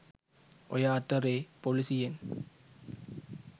ඔය අතරේ පොලිසියෙන්